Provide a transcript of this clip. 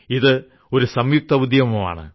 ഇത് ഒരു സംയുക്ത ഉദ്യമം ആണ്